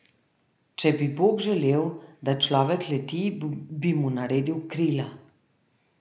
Če bi bog želel, da človek leti, bi mu naredil krila.